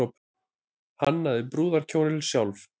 Hannaði brúðarkjólinn sjálf